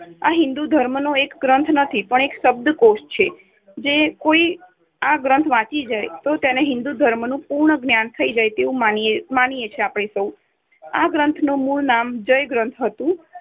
આ હિંદુ ધર્મનો એક ગ્રંથ નથી પણ એક શબ્દકોષ છે. જો કોઈ આ ગ્રંથ વાંચી જાય તો તેને હિન્દુ ધર્મનું પૂર્ણ જ્ઞાન થઇ જાય તેવું માનીયે માનીયે છીએ આપણે સૌ. આ ગ્રંથનું મૂળ નામ 'જય' ગ્રંથ હતુ